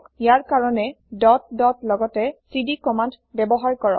ইয়াৰ কাৰণে dot dot লগতে CD command ব্যৱহাৰ কৰক